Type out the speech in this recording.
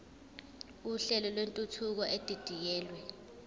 uhlelo lwentuthuko edidiyelwe